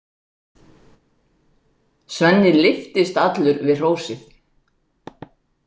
Svenni lyftist allur við hrósið.